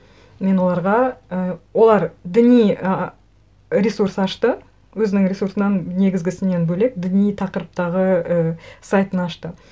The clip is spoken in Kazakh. мен оларға і олар діни ыыы ресурс ашты өзінің ресурсынан негізгісінен бөлек діни тақырыптағы ы сайтын ашты